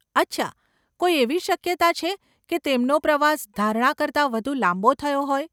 અચ્છા, કોઈ એવી શક્યતા છે કે તેમનો પ્રવાસ ધારણા કરતા વધુ લાંબો થયો હોય?